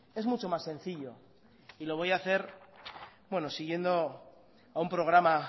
es mucho mas sencillo y lo voy a hacer siguiendo a un programa